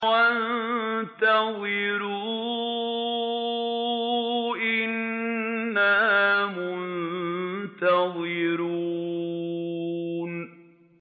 وَانتَظِرُوا إِنَّا مُنتَظِرُونَ